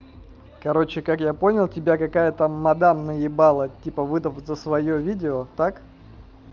короче как я понял тебя какая-то мадам наебала типа выдав за своё видео так